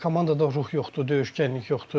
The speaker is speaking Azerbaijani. Komandada ruh yoxdur, döyüşkənlik yoxdur.